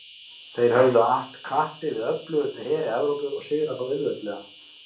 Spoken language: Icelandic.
Þeir höfðu att kappi við öflugustu heri Evrópu og sigrað þá auðveldlega.